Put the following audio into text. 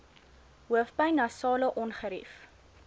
hoofpyn nasale ongerief